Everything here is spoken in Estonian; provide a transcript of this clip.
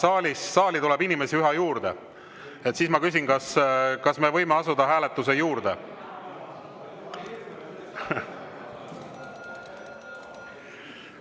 Kuna saali tuleb inimesi üha juurde, siis ma küsin, kas me võime asuda hääletuse juurde.